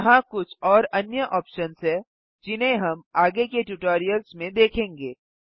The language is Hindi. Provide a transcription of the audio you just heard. यहाँ कुछ और अन्य ऑप्शन्स हैं जिन्हें हम आगे के ट्यूटोरियल्स में देखेंगे